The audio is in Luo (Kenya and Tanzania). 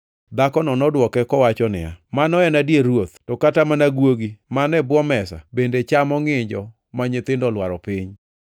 Dhakono nodwoke kowacho niya, “Mano en adier, Ruoth, to kata mana guogi man e bwo mesa bende chamo ngʼinjo ma nyithindo olwaro piny.”